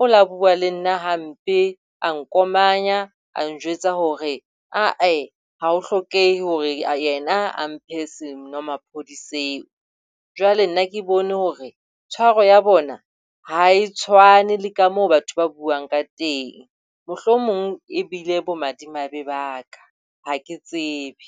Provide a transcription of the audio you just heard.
O la bua le nna hampe a nkomanya a njwetsa hore ae ha o hlokehe hore nna a mphe senomaphodi seo. Jwale nna ke bone hore tshwaro ya bona ha e tshwane le ka moo batho ba buang ka teng. Mohlomong e bile bo madimabe ba ka. Ha ke tsebe.